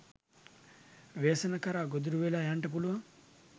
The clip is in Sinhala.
ව්‍යසන කරා ගොදුරු වෙලා යන්ට පුළුවන්.